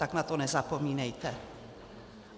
Tak na to nezapomínejte.